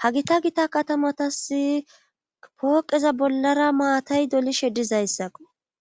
ha gita gita katamatasi pooqeza bollara maatay dolishe dizayssakko